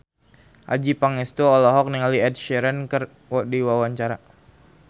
Adjie Pangestu olohok ningali Ed Sheeran keur diwawancara